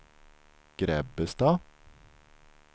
Grebbestad